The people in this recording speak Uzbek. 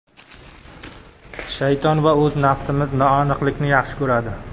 Shayton va o‘z nafsimiz noaniqlikni yaxshi ko‘radi.